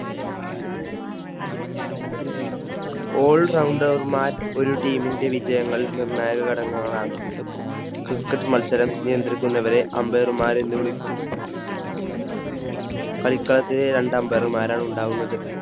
All Rounder മാർ ഒരു Team ന്റെ വിജയങ്ങൾ നിർണായക ഘടകങ്ങളാണ്. cricket മത്സരം നിയന്ത്രിക്കുന്നവരെ Ambire മാർഎന്ന് വിളിക്കുന്നു. കളിക്കളത്തിൽ രണ്ട് Ambire മാർ ആണ് ഉണ്ടാകുന്നത്.